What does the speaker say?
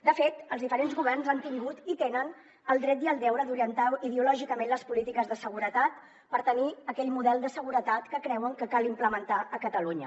de fet els diferents governs han tingut i tenen el dret i el deure d’orientar ideològicament les polítiques de seguretat per tenir aquell model de seguretat que creuen que cal implementar a catalunya